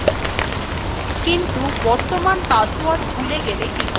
কিন্তু বর্তমান password ভুলে গেলে কি করব